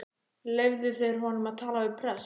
Leyfðu þeir honum að tala við prest?